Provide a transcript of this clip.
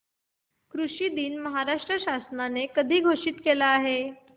कृषि दिन महाराष्ट्र शासनाने कधी घोषित केला आहे